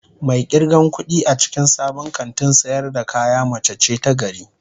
Mai irgan kudi a cikin sabon kantin sayar da kaya mace ce ta gari